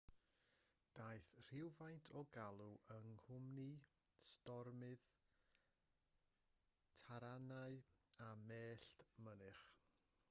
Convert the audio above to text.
daeth rhywfaint o'r glaw yng nghwmni stormydd taranau a mellt mynych